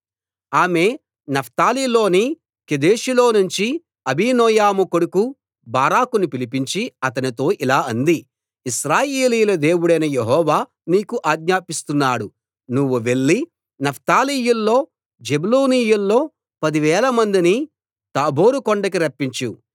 ఆమె నఫ్తాలిలోని కెదెషులో నుంచి అబీనోయము కొడుకు బారాకును పిలిపించి అతనితో ఇలా అంది ఇశ్రాయేలీయుల దేవుడైన యెహోవా నీకు ఆజ్ఞాపిస్తున్నాడు నువ్వు వెళ్లి నఫ్తాలీయుల్లో జెబూలూనీయుల్లో పదివేల మందిని తాబోరు కొండ దగ్గరికి రప్పించు